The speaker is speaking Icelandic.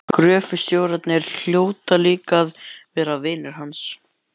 Gröfustjórarnir hljóta líka að vera vinir hans.